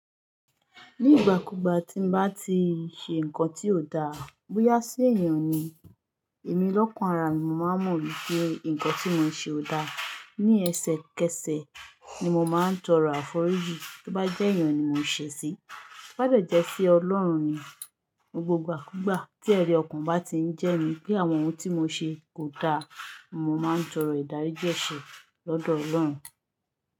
Ní ìgbà kúgbà tí n bá ti ṣe nnkan tí ò da, bóyá sí èèyàn ni, èmi lọ́kan ara mi mo máa mọ̀ wípé nnkan tí mo ṣe ò da. Ni ẹsẹ kẹsẹ ni mo máa ń tọrọ àforíjì tí ó bá jẹ́ èèyàn ni mo ṣẹ̀ sí. Bobá dẹ̀ jẹ́ si Ọlọ́run ni, ní gbogbo igbàkúgbà tí ẹri ọkan bá ti ń jẹ mí pé àwọn ohun tí mo ṣe kò da, mo máa ń tọrọ ìdáríjì ẹsẹ̀ lọ́dọ̀ Ọlọ́run.